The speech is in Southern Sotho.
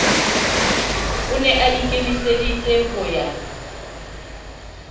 o ne aikemiseditse ho ya